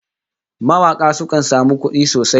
Mawaka sukan samu kudi sosai